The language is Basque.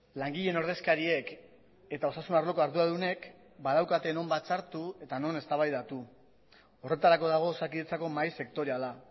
langileen ordezkariek eta osasun arloko arduradunek badaukate non batzartu eta non eztabaidatu horretarako dago osakidetzako mahai sektoriala